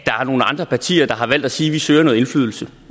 er nogle andre partier der har valgt at sige at de søger noget indflydelse